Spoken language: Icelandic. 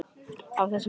á þessum vetri.